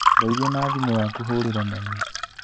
Ndeithia na thimũ yaku hũrĩre mami